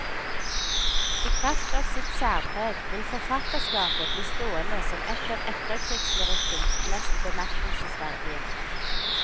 I kraft av sitt særpreg vil forfatterskapet bli stående som et av etterkrigslyrikkens mest bemerkelsesverdige.